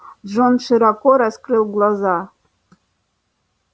джон широко раскрыл глаза